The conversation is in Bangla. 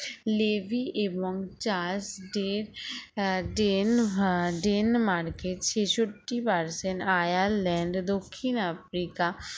লেজি এবং চার্লস ডেজ ডনে হা ডেনমার্কের ছেষট্টি percent আয়ারল্যান্ড দক্ষিণ আফ্রিকা